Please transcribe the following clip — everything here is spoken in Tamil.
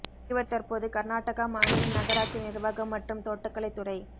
இவர் தற்போது கர்நாடகா மாநில நகராட்சி நிர்வாகம் மற்றும் தோட்டக்கலை துறை